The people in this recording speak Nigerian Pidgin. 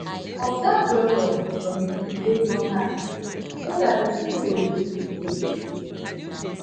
observe well well from di thing wey don happen so dat person no go repeat mistakes